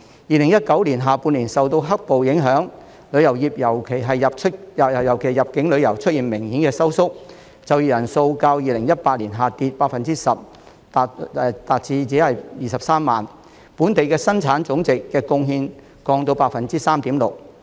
2019年下半年受到"黑暴"影響，旅遊業尤其是入境旅遊出現明顯收縮，就業人數較2018年下跌 10% 至23萬人，對本地生產總值的貢獻降至 3.6%。